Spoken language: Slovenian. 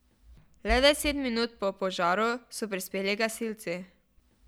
Le deset minut po požaru so prispeli gasilci.